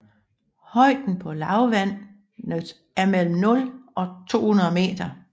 Højden på lavlandet er mellem 0 og 200 meter